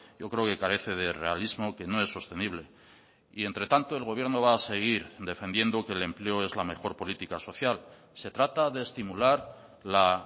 yo creo que carece de realismo que no es sostenible y entre tanto el gobierno va a seguir defendiendo que el empleo es la mejor política social se trata de estimular la